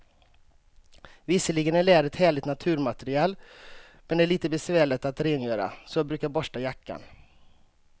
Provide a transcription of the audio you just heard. Visserligen är läder ett härligt naturmaterial, men det är lite besvärligt att rengöra, så jag brukar borsta jackan.